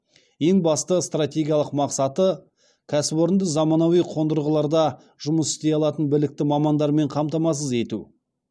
ең басты стратегиялық мақсаты кәсіпорынды заманауи қондырғыларда жұмыс істей алатын білікті мамандармен қамтамасыз ету